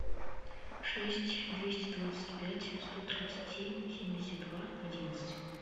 шесть двести двадцать пять сто тридцать семь семьдесят два одиннадцать